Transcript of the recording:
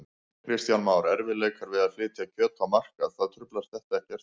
Kristján Már: Erfiðleikar við að flytja kjöt á markað, það truflar þetta ekkert?